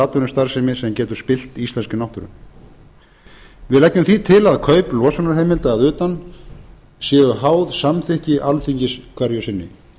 atvinnustarfsemi sem getur spillt íslenskri náttúru við leggjum því til að kaup losunarheimilda að utan séu háð samþykki alþingis hverju sinni